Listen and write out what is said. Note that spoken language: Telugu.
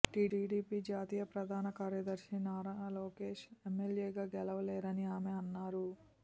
టీడీపీ జాతీయ ప్రధాన కార్యదర్శి నారా లోకేష్ ఎమ్మెల్యేగా గెలువలేరని ఆమె అన్నారు